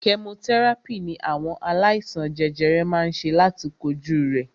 Kẹmotẹ́ràpì ní àwọn aláìsàn jẹjẹrẹ má ń ṣe láti kojú rẹ̀.